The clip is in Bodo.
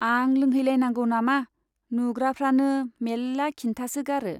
आं लोंहै लायनांगौ नामा ? नुग्राफ्रानो मेल्ला खिन्थासोगारो।